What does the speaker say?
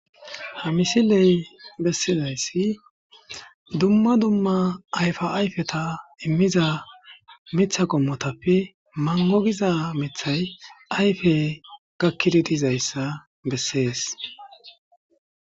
ha misiley bessizayssi dumma dumma ayfa ayfeta immiza mitha qommotappe mangogiza mithay ayfe gakkidi dizayssa bessees